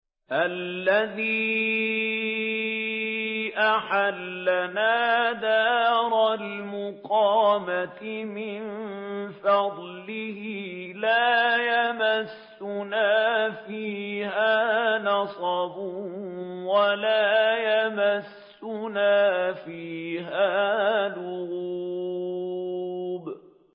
الَّذِي أَحَلَّنَا دَارَ الْمُقَامَةِ مِن فَضْلِهِ لَا يَمَسُّنَا فِيهَا نَصَبٌ وَلَا يَمَسُّنَا فِيهَا لُغُوبٌ